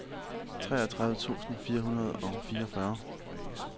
treogtredive tusind fire hundrede og fireogfyrre